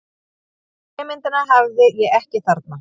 Trémyndina hafði ég ekki þarna.